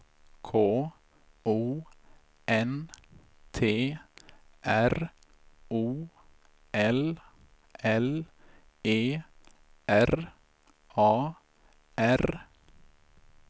K O N T R O L L E R A R